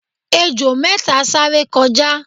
ejò méta sáré kọjá